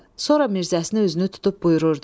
Sonra Mirzəsini özünü tutub buyururdu.